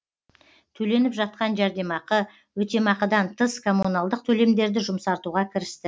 төленіп жатқан жәрдемақы өтемақыдан тыс коммуналдық төлемдерді жұмсартуға кірісті